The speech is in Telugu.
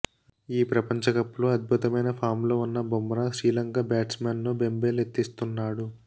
ఈ ప్రపంచకప్లో అద్భుతమైన ఫామ్లో ఉన్న బుమ్రా శ్రీలంక బ్యాట్స్మెన్ను బెంబేలెత్తిస్తున్నాడు